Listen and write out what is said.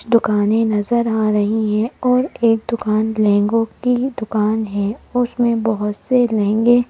दुकानें नजर आ रही हैं और एक दुकान लहंगों की दुकान है उसमें बहुत से लहंगे--